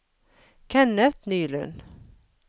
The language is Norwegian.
Kenneth Nylund